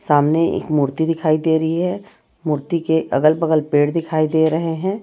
सामने एक मूर्ति दिखाई दे रही है मूर्ति के अगल बगल पेड़ दिखाई दे रहे हैं।